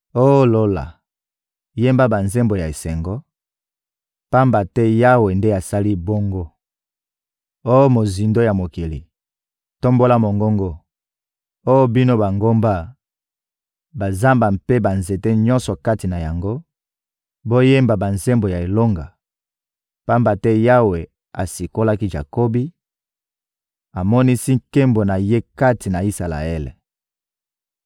Oh Lola, yemba banzembo ya esengo, pamba te Yawe nde asali bongo! Oh mozindo ya mokili, tombola mongongo! Oh bino bangomba, bazamba mpe banzete nyonso kati na yango, boyemba banzembo ya elonga! Pamba te Yawe asikolaki Jakobi, amonisi nkembo na Ye kati na Isalaele.